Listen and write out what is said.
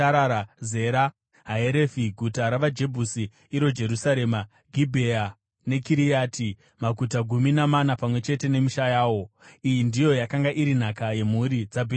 Zera, Haerefi guta ravaJebhusi, (iro Jerusarema) Gibhea neKiriati, maguta gumi namana pamwe chete nemisha yawo. Iyi ndiyo yakanga iri nhaka yemhuri dzaBhenjamini.